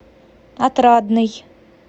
отрадный